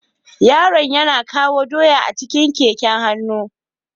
Yaron yana kawo doya a cikin keken hannu.